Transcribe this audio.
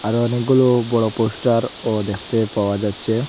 আরো অনেকগুলো বড়ো পোস্টারও দেখতে পাওয়া যাচ্ছে।